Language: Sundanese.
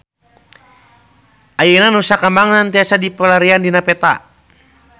Ayeuna Nusa Kambangan tiasa dipilarian dina peta